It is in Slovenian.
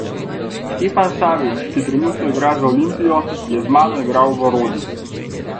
Stefan Savić, ki trenutno igra za Olimpijo, je z mano igral v Rodi.